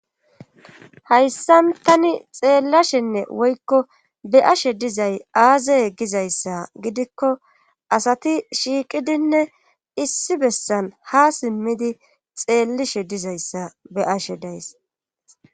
hayssan tani xeellashenne woykko be7ashe dizay aazaye gizayssa gidikko asati shiiqidinne issi bessan ha simmidi xeellishe dizayssa be7ashe days.